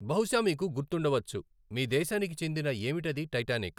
బహుశా మీకు గుర్తుండవచ్చు మీ దేశానికి చెందిన ఏమిటది టైటానిక్?